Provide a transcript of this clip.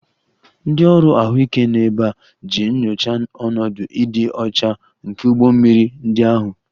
Ndị ọrụ ahụike nọ ebe a iji nyochaa ọnọdụ ịdị ọcha nke ụgbọ mmiri ndị ahụ